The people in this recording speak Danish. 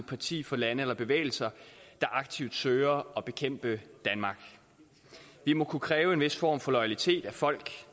parti for lande eller bevægelser der aktivt søger at bekæmpe danmark vi må kunne kræve en vis form for loyalitet af folk